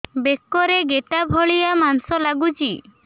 ବେକରେ ଗେଟା ଭଳିଆ ମାଂସ ଲାଗୁଚି